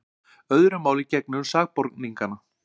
Öðru máli gegnir um sakborningana.